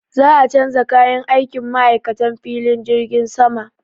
Za a canza kayan aikin ma'aikatan filin jirgin sama.